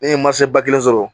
Ne ye masa ba kelen sɔrɔ